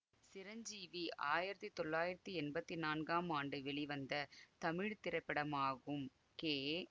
சிரஞ்சீவி ஆயிரத்தி தொள்ளாயிரத்தி எம்பத்தி நான்காம் ஆண்டு வெளிவந்த தமிழ் திரைப்படமாகும் கே